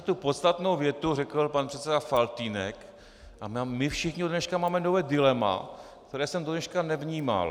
Sice tu podstatnou větu řekl pan předseda Faltýnek a my všichni od dneška máme nové dilema, které jsem do dneška nevnímal.